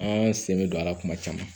An sen bɛ don a la kuma caman